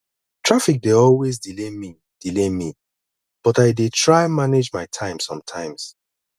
traffic dey always delay me delay me but i dey try manage my time somtimes